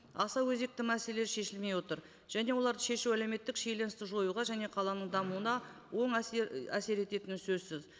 аса өзекті мәселесі шешілмей отыр және оларды шешу әлеуметтік шиеленісті жоюға және қаланың дамуына оң әсер ететіні сөзсіз